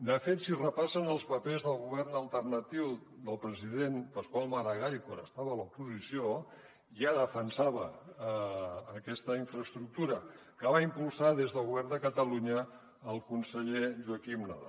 de fet si repassen els papers del govern alternatiu del president pasqual maragall quan estava a l’oposició ja defensava aquesta infraestructura que va impulsar des del govern de catalunya el conseller joaquim nadal